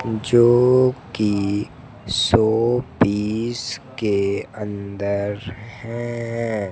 जो की शोपीस के अंदर हैं।